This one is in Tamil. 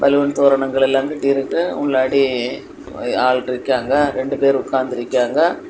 பலூன் தோரணங்கள் எல்லா கட்டி இருக்கு முன்னாடி ஆள் இருக்காங்க ரெண்டு பேர் உக்காந்து இருக்காய்ங்க.